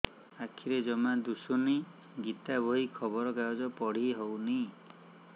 ଆଖିରେ ଜମା ଦୁଶୁନି ଗୀତା ବହି ଖବର କାଗଜ ପଢି ହଉନି